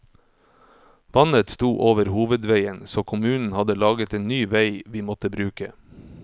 Vannet sto over hovedveien, så kommunen hadde laget en ny vei vi måtte bruke.